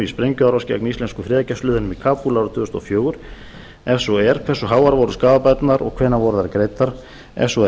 sprengjuárás gegn íslensku friðargæsluliðunum í kabúl árið tvö þúsund og fjögur ef svo er hversu háar voru skaðabæturnar og hvenær voru þær greiddar ef svo er